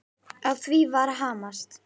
Á því var hamast.